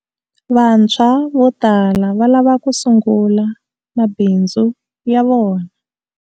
Vantshwa vo tala va lava ku sungula mabindzu ya vona.